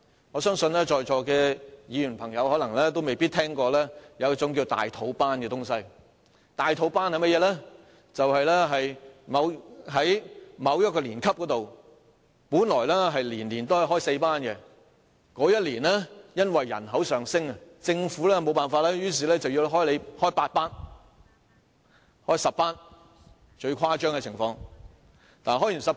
我相信在座的議員同事可能沒有聽說過"大肚班"，"大肚班"的意思是，在某一年級，本來每年開4班，但該年因人口上升，政府在沒辦法的情況下只好要求學校開8班，最誇張的情況是開10班。